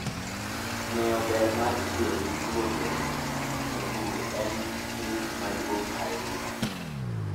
Ng'eyo ber mar tiyo gi thuonde e pur en ting' maduong' ahinya.